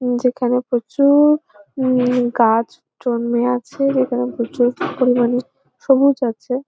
যেকানে প্রচু-উ-র উম গাছ জন্মে আছে যেখানে প্রচুর পরিমানে সবুজ আছে।